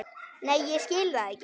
Nei ég skil það ekki.